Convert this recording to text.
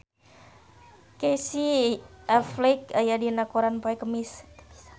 Casey Affleck aya dina koran poe Kemis